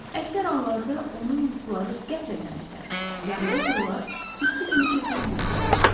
Əksər anlarda onun yuxuları qəflətən bitər, yarıda qırılar, tüstü kimi çəkilib yox olardı.